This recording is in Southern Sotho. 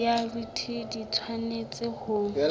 ya bt di tshwanetse ho